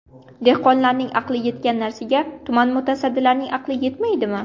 Dehqonlarning aqli yetgan narsaga tuman mutasaddilarining aqli yetmaydimi.